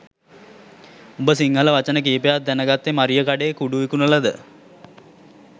උඹ සිංහල වචන කීපයක් දැනගත්තෙ මරියකඩේ කුඩු විකුණලද?